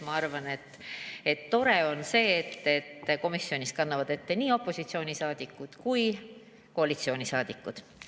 Ma arvan, et tore on see, et kannavad ette nii opositsioonisaadikud kui ka koalitsioonisaadikud.